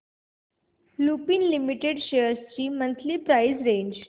Lupin limited shares ची monthly price range